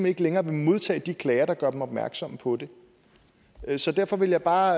ikke længere vil modtage de klager der gør dem opmærksomme på det så derfor ville jeg bare